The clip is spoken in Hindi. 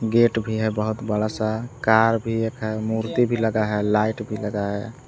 गेट भी है बहुत बड़ा सा कार भी एक है मूर्ति भी लगा है लाइट भी लगा है।